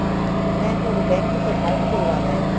ਮੈਂ ਤੁਹਾਡੇ bank ਵਿੱਚ account ਖੁਲਵਾਉਣਾ ਹੈ